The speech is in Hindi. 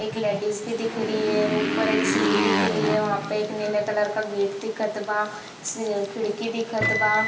एक लेडिस भी दिख रही है ऊपर एक सीढ़ी दिख रही है वहाँ पे एक नीले कलर का गेट दिखत बा स खिड़की दिखत बा।